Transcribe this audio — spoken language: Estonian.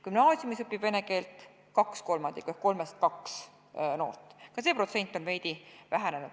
Gümnaasiumis õpib vene keelt 2/3 ehk kolmest kaks noort, ka see protsent on veidi vähenenud.